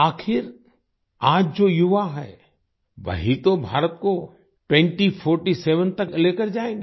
आखिर आज जो युवा हैं वही तो भारत को 2047 तक लेकर जाएंगे